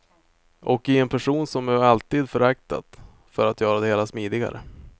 Och i en person som jag alltid föraktat, för att göra det hela smidigare.